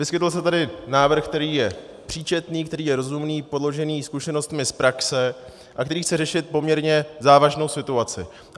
Vyskytl se tady návrh, který je příčetný, který je rozumný, podložený zkušenostmi z praxe a který chce řešit poměrně závažnou situaci.